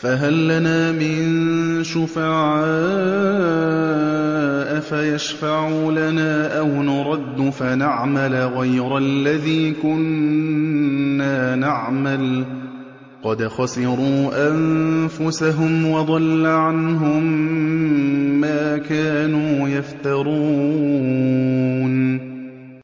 فَهَل لَّنَا مِن شُفَعَاءَ فَيَشْفَعُوا لَنَا أَوْ نُرَدُّ فَنَعْمَلَ غَيْرَ الَّذِي كُنَّا نَعْمَلُ ۚ قَدْ خَسِرُوا أَنفُسَهُمْ وَضَلَّ عَنْهُم مَّا كَانُوا يَفْتَرُونَ